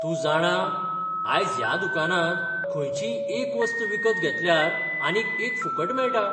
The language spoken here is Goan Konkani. तूं जाणा? आयज ह्या दुकानांत खंयचीच एक वस्त विकत घेतल्यार आनीक एक फुकट मेळटा.